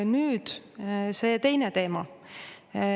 Ja nüüd see teine teema.